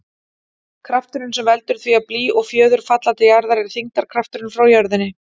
Krafturinn sem veldur því að blý og fjöður falla til jarðar er þyngdarkrafturinn frá jörðinni.